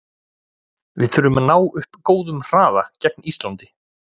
Við þurfum að ná upp góðum hraða gegn Íslandi.